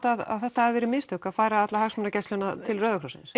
að þetta hafi verið mistök að færa alla hagsmunagæsluna til Rauða krossins